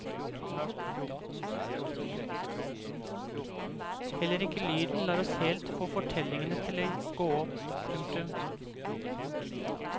Heller ikke lyden lar oss helt få fortellingene til å gå opp. punktum